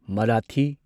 Marathi